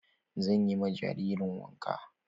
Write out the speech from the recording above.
Zan yi ma jaririn wanka.